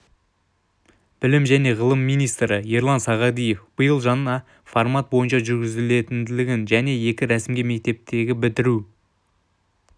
білім және ғылым министрі ерлан сағадиев биыл жаңа формат бойынша жүргізілгенін және екі рәсімге мектептердегі бітіру